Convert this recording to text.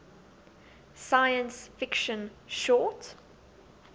science fiction short